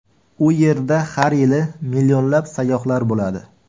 U yerda har yili millionlab sayyohlar bo‘ladi.